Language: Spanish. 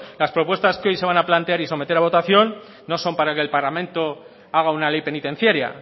las propuestas que hoy se van a plantear y someter a votación no son para que el parlamento haga una ley penitenciaria